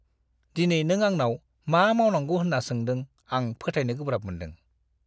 दिनै नों आंनाव मा मावनांगौ होन्ना सोंदों आं फोथायनो गोब्राब मोनदों!